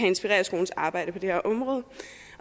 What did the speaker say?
inspirere skolens arbejde på det her område